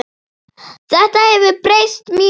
Þetta hefur breyst mjög.